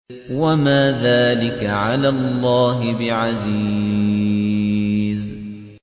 وَمَا ذَٰلِكَ عَلَى اللَّهِ بِعَزِيزٍ